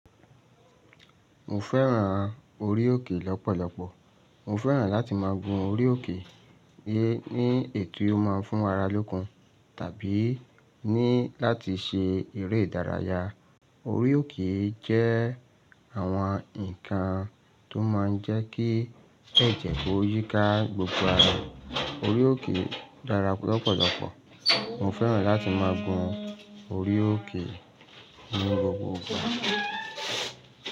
Mo fẹ́ràn orí òkè lọ́pọ̀lọpọ̀. Mo fẹ́ràn láti ma gun orí òkè ní èyí tí ó má ń fún ara lókun tàbí láti ṣe eré ìdárayá. Orí òkè jẹ́ àwọn nǹkan tó máa ń jẹ́ kí ẹ̀jẹ̀ kó yíká gbogbo ara. Orí òkè dára lọ́pọ̀lọpọ̀. Mo fẹ́ràn láti ma gun orí òkè ní gbogbo ìgbà.